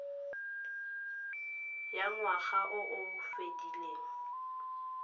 ya ngwaga o o fedileng